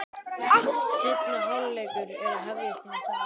Seinni hálfleikur er að hefjast inni í sal.